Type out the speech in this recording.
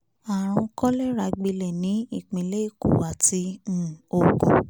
àrùn kọ́lẹ́rà gbilẹ̀ ní ìpínlẹ̀ èkó àti um ogun